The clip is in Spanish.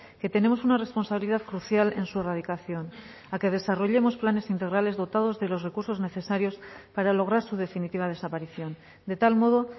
que tenemos una responsabilidad crucial en su erradicación a que desarrollemos planes integrales dotados de los recursos necesarios para lograr su definitiva desaparición de tal modo